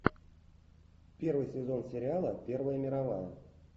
первый сезон сериала первая мировая